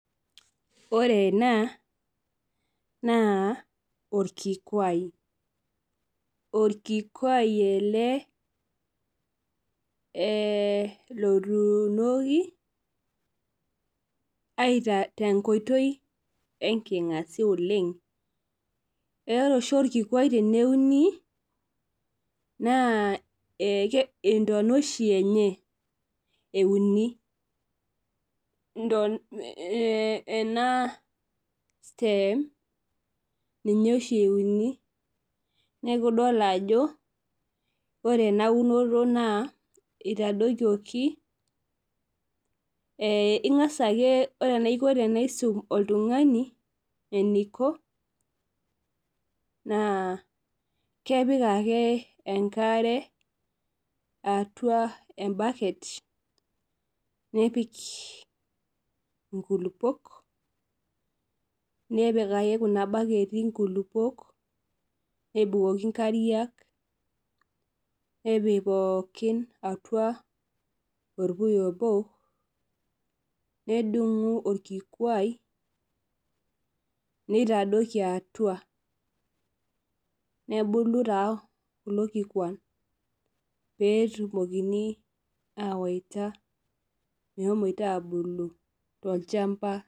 Ore ena, naa orkikuai. Orkikuai ele lotuunoki aita tenkoitoi enking'asia oleng, ore oshi orkikuai teneuni, naa intona oshi enye euni. Ena stem, ninye oshi euni. Neku idol ajo, ore enaunoto naa itadokioki ing'asa ake ore enaisum oltung'ani, eniko, naa kepik ake enkare atua ebaket, nepik inkulukuok, nepik ake kuna baketi nkulukuok, nebukoki nkariak, nepik pookin atua orpuya obo, nedung'u orkikuai nitadoki atua. Nebulu taa kulo kikuan petumokini awaita meshomoita abulu tolchamba.